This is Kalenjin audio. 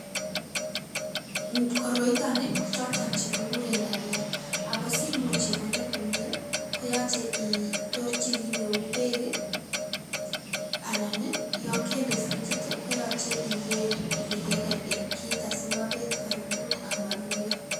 KOroiton kii ko choton chekikuren dhania ako simuch ikonor komii koyoche itorchi kii neu beek kii anan nii yon kende frichit tii koyoche iker ile keker en kit asimobet oribut amonunio.